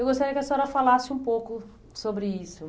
Eu gostaria que a senhora falasse um pouco sobre isso.